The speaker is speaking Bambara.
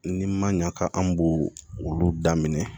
Ni ma ɲa ka an b'o olu daminɛ